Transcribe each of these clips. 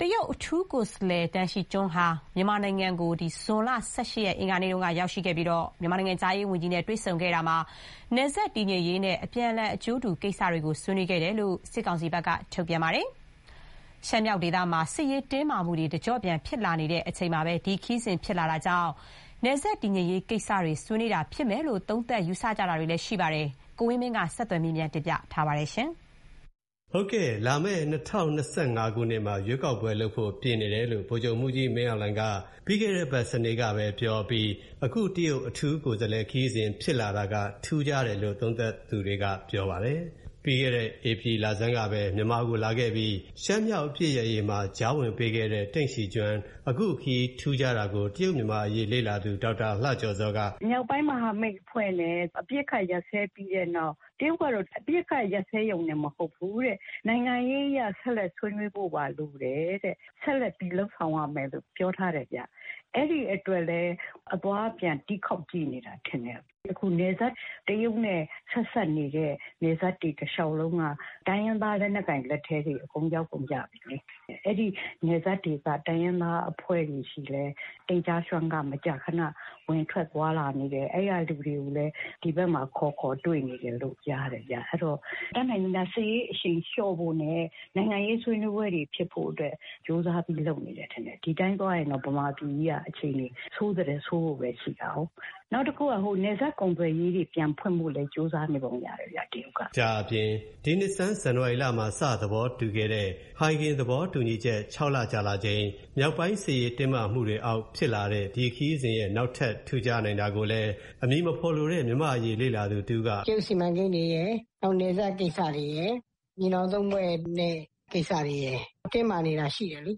တရုတ်အထူးကိုယ်စားလှယ် Den Xijun ဟာ မြန်မာနိုင်ငံကို အင်္ဂါနေ့ကရောက်ရှိခဲ့ပြီး မြန်မာနိုင်ငံခြားရေးဝန်ကြီးနဲ့တွေ့ဆုံခဲ့ရာမှာ နယ်စပ်တည်ငြိမ်ရေးနဲ့ အပြန်အလှန်အကျိုးတူကိစ္စတွေ ဆွေးနွေးခဲ့တယ်လို့ စစ်ကောင်စီဘက်က ထုတ်ပြန်ပါတယ်။ ရှမ်းမြောက်ဒေသမှာ စစ်ရေးတင်းမာမှုတွေ တကျော့ပြန်ဖြစ်လာတဲ့အချိန်မှာ ဒီ ခရီးစဉ်ဖြစ်လာတာမို့ နယ်စပ်တည်ငြိမ်ရေးကိစ္စတွေ ဆွေးနွေးတာဖြစ်မယ်လို့ သုံးသပ်ယူဆကြပါတယ်။ ကိုဝင်းမင်းဆက်သွယ်မေးမြန်းထားပါတယ်။ လာမဲ့ ၂၀၂၅ ခုနှစ်မှာ ရွေးကောက်ပွဲလုပ်ဖို့ ပြင်နေတယ်လို့ ဗိုလ်ချုပ်မှူးကြီးမင်းအောင်လှိုင်က ပြီးခဲ့တဲ့အပတ်စနေနေ့ကပဲ ပြောခဲ့ပြီးတဲ့နောက် အခု တရုတ် အထူးကိုယ်စားလှယ် ခရီးစဉ်ဖြစ်လာတာက ထူးခြားတယ်လို့ သုံးသပ်သူတွေက ပြောပါတယ်။ ပြီးခဲ့တဲ့ ဧပြီလဆန်းကပဲ မြန်မာနိုင်ငံကိုလာခဲ့ပြီး ရှမ်းမြောက်အပစ်ရပ်ရေးကြားဝင်ပေးခဲ့တဲ့ Den Xijun အခုခရီးထူးခြားတာကို တရုတ်-မြန်မာအရေး လေ့လာသူ ဒေါက်တာလှကျော်ဇောက အခုလို ထောက်ပြပါတယ်။ "မြောက်ပိုင်းမဟာမိတ်အဖွဲ့တွေနဲ့ အပစ်အခတ်ရပ်စဲပြီးတဲ့နောက် တရုတ်ကတော့ အပစ်အခတ်ရပ်စဲရုံတင်မဟုတ်ဘူး-တဲ့။ နိုင်ငံရေးအရ ဆက်လက် ဆွေးနွေးဖို့ပါ လိုတယ်-တဲ့။ ဆက်လက်ပြီး လုပ်ဆောင်ရမယ်လို့ ပြောထားတယ်ဗျ။ အဲဒီအတွက်လည်း အသွားအပြန် တီးခေါက်ကြည့်နေတာထင်တယ်။ အခု နယ်စပ် တရုတ်နဲ့ဆက်စပ်နေတဲ့ နယ်စပ်တွေတလျှောက်လုံးက တိုင်းရင်းသား လက်နက်ကိုင်တပ်တွေလက်ထဲ အကုန် ရောက်ကုန်ကြပြီလေ။ အဲဒီနယ်စပ်ဒေသ တိုင်းရင်းသားအဖွဲ့တွေဆီလည်း Den Xijun က မကြာခဏဝင်ထွက်သွားလာနေတယ်။ အဲဒီက လူတွေလည်း ဒီဘက်မှာ ခေါ်ခေါ်တွေ့နေတယ်လို့ ကြားတယ်ဗျ။ အဲဒီတော့ တတ်နိုင်သမျှ စစ်ရေးအရှိန်လျှော့ဖို့နဲ့ နိုင်ငံရေးဆွေးနွေးပွဲတွေဖြစ်ဖို့အတွက် ကြိုးစားပြီး လုပ်နေတယ်ထင်တယ်။ ဒီအတိုင်းသွားရင်တော့ ဗမာပြည်ကြီးက အခြေအနေ ဆိုးသည်ထက်ဆိုးဖို့ပဲ ရှိတာကို။ နောက်တခုက နယ်စပ်ကုန်သွယ်ရေးတွေလည်း ပြန်ဖွင့်ဖို့ကြိုးစားနေပုံရတယ်ဗျ။ တရုတ်က။" ဒါ့အပြင် ဒီနှစ်ဆန်း ဇန်နဝါရီလမှာ စ သဘောတူခဲ့တဲ့ ဟိုင်ဂင်သဘောတူချက် ၆ လ ကြာလာချိန်၊ မြောက်ပိုင်းစစ်ရေးတင်းမာမှုတွေအောက်ဖြစ်လာတဲ့ ဒီခရီးစဉ်ရဲ့ နောက်ထပ် ထူးခြားနိုင်တာကိုလည်း အမည်မဖော်လိုတဲ့ မြန်မာ့အရေး လေ့လာသူတဦးကလည်း အခုလို ရှင်းပြပါတယ်။ "တရုတ်စီမံကိန်းတွေရယ်၊ နောက် နယ်စပ်ကိစ္စတွေရယ်၊ ညီနောင်သုံးဖွဲ့နဲ့ကိစ္စတွေရယ်လေ တင်းမာနေတာရှိတယ်လေ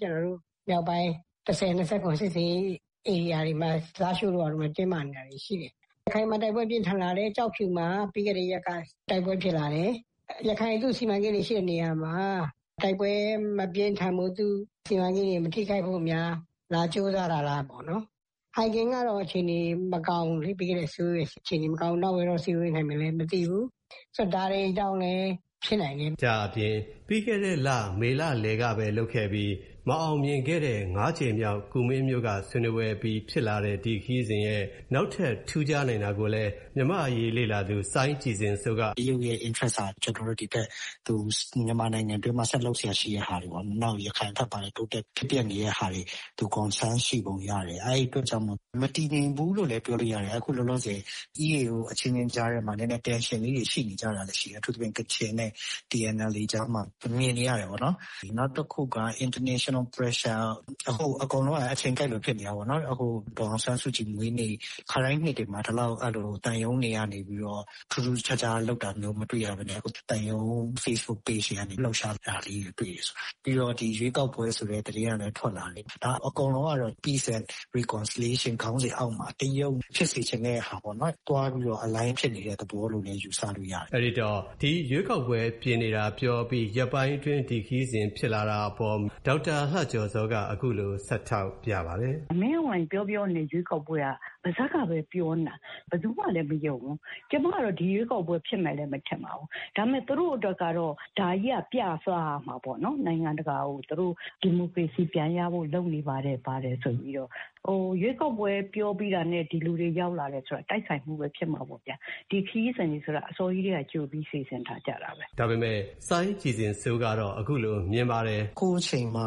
။ ကျနော်တို့ မြောက်ပိုင်း ၁၀၂၇ စစ်ဆင်ရေးဧရိယာတွေမှာ လားရှိုးတို့ ဘာတို့မှာ တင်းမာနေတာတွေရှိတယ်။ ရခိုင်မှာတိုက်ပွဲပြင်းထန်လာတယ်။ ကျောက်ဖြူမှာ ပြီးခဲ့တဲ့ရက်က တိုက်ပွဲဖြစ်လာတယ်။ ရခိုင်မှာ သူ့စီမံကိန်းတွေရှိတဲ့နေရာမှာ တိုက်ပွဲမပြင်းထန်ဖို့၊ သူ့စီမံကိန်းတွေမထိခိုက်ဖို့များ ကြိုးစားလာသလားပေါ့နော်။....ကတော့ အခြေအနေမကောင်းဘူးလေ၊ ပြီးခဲ့တဲ့အစည်းအဝေးတွေ အခြေအနေမကောင်းဘူး။ မန့်ဝိန်းကအစည်းအဝေး....မသိဘူး။ ဆိုတော့ ဒါတွေကြောင့်လည်း ဖြစ်နိုင်တယ်။ ဒါ့အပြင် ပြီးခဲ့တဲ့ မေလလယ်ကလုပ်ခဲ့ပြီး မအောင်မြင်ခဲ့တဲ့ ၅ ကြိမ်မြောက် ကူမင်းမြို့က ဆွေးနွေးပွဲအပြီး ဖြစ်လာတဲ့ ဒီခရီးစဉ်ရဲ့နောက်ထပ် ထူးခြားနိုင်တာကိုလည်း မြန်မာ့အရေးလေ့လာသူ စိုင်းကြည်ဇင်စိုးက အခုလို ထောက်ပြပါတယ်။ "တရုတ်ရဲ့ interest က မြန်မာနိုင်ငံအတွင်းမှာ သူဆက်လုပ်စရာ ရှိတဲ့ဟာတွေပေါ့နော်၊ နောက် ရခိုင်ဘက်မှာလည်း ဖြစ်ပျက်နေတဲ့ဟာတွေ သူ အကုန် ဆန်းစစ်ပုံရတယ်။ အဲဒီအတွက်ကြောင့်မို့လို့ မတည်ငြိမ်ဘူးလို့လည်းပြောလို့ရတယ်။ အခု လောလောဆယ် EAO အချင်းချင်းကြားထဲမှာ နည်းနည်း tension လေးတွေရှိနေကြတာလည်း ရှိတယ်။ အထူးသဖြင့် ကချင်နဲ့ TNLA ကြားမှာ မြင်နေရတယ်ပေါ့နော်။ နောက်တခုက international pressure...အကုန်လုံးက အချိန်ကိုက်လိုဖြစ်နေတာပေါ့နော်။ အခု ဒေါ်အောင်ဆန်းစုကြည်မွေးနေ့ ခါတိုင်းနှစ်တွေမှာ ဒီလောက် သံရုံးတွေကနေပြီးတော့ ထူးထူးခြားခြားလုပ်တာမျိုး မတွေ့ရဘဲနဲ့ အခု သံရုံး facebook page တွေကနေပြီးတော့ လှုပ်ရှားနေတာလေးတွေ တွေ့တယ်ဆိုတော့၊ ပြီးတော့ ဒီ ရွေးကောက်ပွဲဆိုတဲ့သတင်းကလည်းထွက်လာနေတယ်လေ။ ဒါက အကုန်လုံးကတော့ peace and reconciliation ဆိုတဲ့ခေါင်းစဥ်အောက်မှာ တရုတ်ဖြစ်စေချင်တဲ့ဟာပေါ့နော်။ သွားပြီးတော့ aligned ဖြစ်နေတဲ့သဘောလို့ ယူဆလို့ရတယ်။" အဲ့ဒိတော့ ဒီရွေးကောက်ပွဲပြင်နေကြောင်း ပြောပြီးလို့ရက်ပိုင်းအတွင်း ဒီ ခရီးစဉ် ဖြစ်လာတာနဲ့ပတ်သက်လို့ မေးမြန်းရာမှာ ဒေါက်တာလှကျော်ဇော်က အခုလို ဆက်ထောက်ပြပါတယ်။ "မင်းအောင်လှိုင်ပြောပြောနေတဲ့ရွေးကောက်ပွဲဟာ ပါးစပ်ကပဲပြောနေတာ။ ဘယ်သူမှလည်းမယုံဘူး။ ကျမကတော့ ဒီရွေးကောက်ပွဲ ဖြစ်မယ်လည်း မထင်ပါဘူး။ သူတို့အတွက်ကတော့ ဒါကြီးက ပြ,စားရမှာပေ့ါနော်။ နိုင်ငံတကာကို။ သူတို့ ဒီမိုကရေစီပြန်ရဖို့ လုပ်နေပါတယ် ဘာတယ်ဆိုပြီးတော့။ ရွေးကောက်ပွဲ ပြောပြီးတာနဲ့ ဒီလူတွေရောက်လာတာ တိုက်ဆိုင်မှုတော့ ဖြစ်မှာပေါ့ဗျာ။ ဒီခရီးစဥ်တွေဆိုတာကတော့ အစောကြီးကတည်းက ကြိုပြီး စီစဥ်ထားကြတာပဲ။" ဒါပေမဲ့ စိုင်းကြည်ဇင်စိုးကတော့ အခုလို မြင်ပါတယ်။ "အခုအချိန်မှာ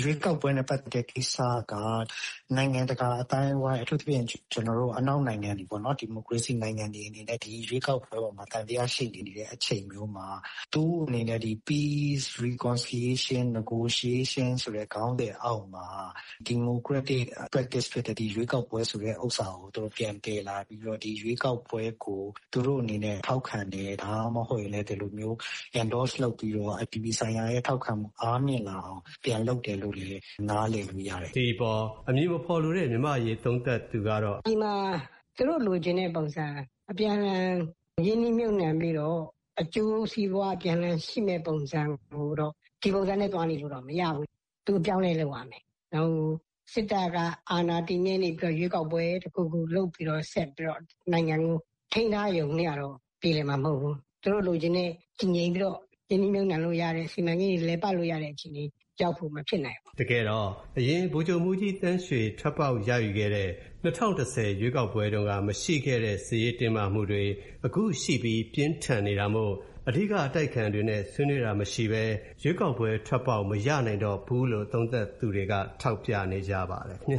ရွေးကောက်ပွဲနဲ့ပတ်သက်တဲ့ကိစ္စက နိုင်ငံတကာအသိုင်းအဝိုင်း အထူးသဖြင့် ကျနော်တို့ အနောက်နိုင်ငံတွေပေါ့နော်။ ဒီမိုကရေစီနိုင်ငံတွေအနေနဲ့ ဒီရွေးကောက်ပွဲအပေါ်မှာ သံသယရှိနေတဲ့အချိန်မျိုးမှာ သူ့အနေနဲ့ Peace, reconciliation, negociation ဆိုတဲ့ ခေါင်းစဥ်အောက်မှာ democratic attractive ဖြစ်တဲ့ ဒီ ရွေးကောက်ပွဲဆိုတဲ့ဥစ္စာကို သူတို့ပြန်သယ်လာပြီးတော့ ဒီ ရွေးကောက်ပွဲကို သူတို့အနေနဲ့ထောက်ခံတယ်၊ ဒါမှမဟုတ်ရင်လည်း ဒီလိုမျိုး endorse လုပ်ပြီးတော့ အပြည်ပြည်ဆိုင်ရာရဲ့ထောက်ခံမှု အားငယ်လာအောင်ပြန်လုပ်တယ်လို့လည်း နားလည်လို့ရတယ်။" ဒီအပေါ် အမည်မဖော်လိုတဲ့ မြန်မာ့အရေးသုံးသပ်သူကတော့ အခုလို ဆက် ထောက်ပြပါတယ်။ "..သူတို့လိုချင်တဲ့ပုံစံ အပြန်အလှန်ရင်းနှီးမြှုပ်နှံပြီးတော့ အကျိုးစီးပွါးပြန်လည်ရှိမယ့်ပုံစံကိုတော့ - ဒီပုံစံနဲ့သွားနေလို့တော့ မရဘူး။ သူ အပြောင်းအလဲ လုပ်ရမယ်။ စစ်တပ်က အာဏာတည်မြဲနေဖို့ ရွေးကောက်ပွဲ တခုခုလုပ်ပြီးတော့ ဆက်ပြီးတော့ နိုင်ငံကို ထိန်းထားရုံနဲ့ကတော့ ပြေလည်မှာမဟုတ်ဘူး။ ကျနော်တို့လိုချင်တဲ့ တည်ငြိမ်ပြီးတော့ ရင်းနှီးမြှုပ်နှံလို့ရတဲ့၊ စီမံကိန်းတွေလည်ပတ်လို့ရတဲ့အခြေအနေ ရောက်ဖို့ မဖြစ်နိုင်ဘူး။" တကယ်တော့ အရင် ဗိုလ်ချုပ်မှူးကြီးသန်းရွှေ ထွက်ပေါက်ရယူခဲ့တဲ့၂၀၁၀ ရွေးကောက်ပွဲတုန်းက မရှိခဲ့တဲ့ စစ်ရေးတင်းမာမှုတွေ အခုရှိပြီး ပြင်းထန်နေတာမို့ အဓိကအတိုက်အခံတွေနဲ့ ဆွေးနွေးတာမရှိဘဲ ရွေးကောက်ပွဲထွက်ပေါက်မရနိုင်တော့ဘူးလို့ သုံးသပ်သူတွေက ထောက်ပြနေကြပါတယ် ခင်ဗျ